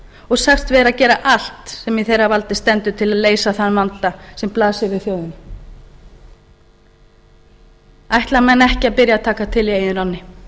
og sagt vera að gera allt sem í þeirra vanda stendur til að leysa þann vanda sem blasir við þjóðinni ætla menn ekki að byrja á að taka til í eigin ranni